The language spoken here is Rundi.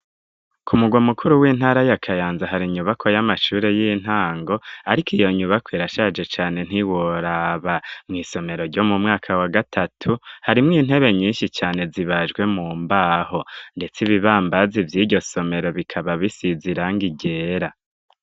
Ku mugwamukuru w'intara y'akayanza hari inyubako y'amashure y'intango ariko iyo nyubako irashaje cane ntiworaba mw'isomero ryo mu mwaka wa gatatu harimwo intebe nyinshi cane zibajwe mu mbaho ndetse ibibambazi by'iryo somero bikaba bisizi irangi ryera.